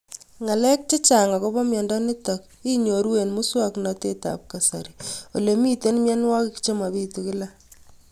Ng'alek chechang' akopo miondo nitok inyoru eng' muswog'natet ab kasari ole mito mianwek che mapitu kila